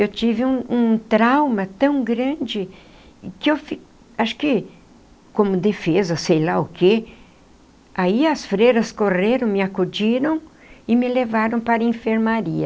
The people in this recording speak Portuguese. Eu tive um um trauma tão grande que eu fiquei... acho que... como defesa, sei lá o quê... Aí as freiras correram, me acudiram e me levaram para a enfermaria.